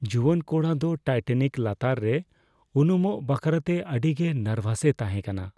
ᱡᱩᱣᱟᱹᱱ ᱠᱚᱲᱟ ᱫᱚ ᱴᱟᱭᱴᱟᱱᱤᱠ ᱞᱟᱛᱟᱨ ᱨᱮ ᱩᱱᱩᱢᱚᱜ ᱵᱟᱠᱷᱨᱟᱛᱮ ᱟᱹᱰᱤᱜᱮ ᱱᱟᱨᱵᱷᱟᱥᱮ ᱛᱟᱦᱮᱸ ᱠᱟᱱᱟ ᱾